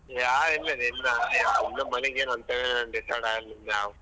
ಯಾರ್ ಇಲ್ಲಲೇ ಇಲ್ಲಾ ಇನ್ನು ಮನಿಗ್ ಏನು ಅಂತ decide ಆಗ್ಲಿಲ್ಲ.